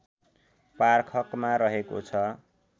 पार्खकमा रहेको छ